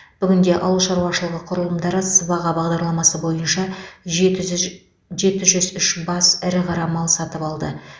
бүгінде ауыл шаруашылығы құрылымдары сыбаға бағдарламасы бойынша жеті жз жеті жүз үш бас ірі қара мал сатып алды